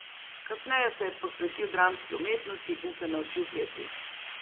Kasneje se je posvetil dramski umetnosti in se naučil peti.